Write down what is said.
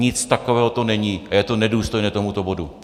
Nic takového to není a je to nedůstojné tomuto bodu.